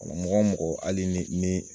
Wala mɔgɔ mɔgɔ ali ni nii